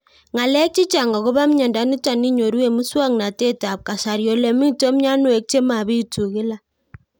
Ng'alek chechang' akopo miondo nitok inyoru eng' muswog'natet ab kasari ole mito mianwek che mapitu kila